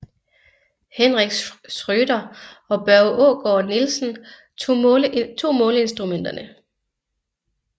Henrik Schrøder og Børge Aagaard Nielsen tog måleinstrumenterne